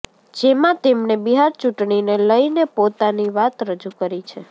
જેમાં તેમણે બિહાર ચૂંટણીને લઈને પોતાની વાત રજૂ કરી છે